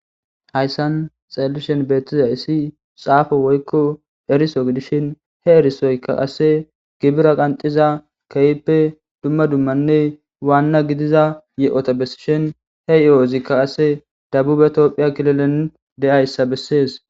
Haysan xelishin betizas xafo woyko eriso he erisoykka qase gibire qanxiza Kehipe dumma dummanne wana gidiza yohota besishen he yohozikka qase debube Ethiopia kililen de'aysa besese